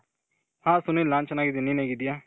ಹಾ ಸುನಿಲ್ ನಾನು ಚೆನಾಗಿದಿನಿ. ನೀನು ಹೇಗಿದಿಯ?